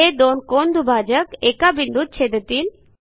हे दोन कोनदुभाजक एका बिंदूत छेदतील